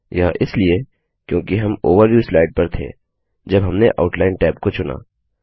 यह इसलिए क्योंकि हम ओवरव्यू स्लाइड पर थे जब हमने आउटलाइन टैब को चुना